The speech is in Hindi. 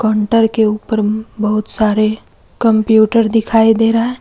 काउंटर के ऊपर बहुत सारे कंप्यूटर दिखाई दे रहा है।